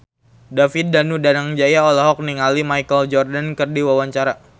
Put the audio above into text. David Danu Danangjaya olohok ningali Michael Jordan keur diwawancara